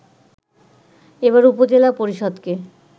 এবার উপজেলা পরিষদকে